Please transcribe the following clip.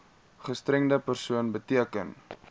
gestremde persoon beteken